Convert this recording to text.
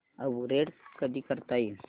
upgrade कधी करता येईल